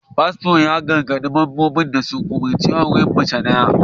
Fasto ya gargadi membansa da ya rungumi auren mace daya